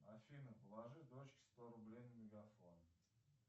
афина положи дочке сто рублей на мегафон